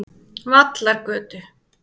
Vallargötu